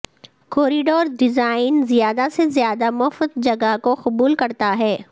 corridor design زیادہ سے زیادہ مفت جگہ کو قبول کرتا ہے